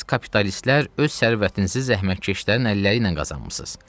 Siz kapitalistlər öz sərvətinizi zəhmətkeşlərin əlləri ilə qazanmısınız.